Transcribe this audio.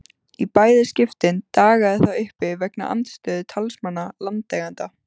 Í bæði skiptin dagaði það uppi vegna andstöðu talsmanna landeigenda.